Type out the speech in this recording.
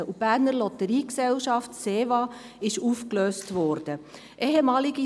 Die Berner Lotteriegesellschaft Seeschutz, Verkehrswerbung und Arbeitsbeschaffung (SEVA) wurde aufgelöst.